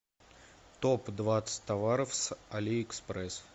топ двадцать товаров с али экспресс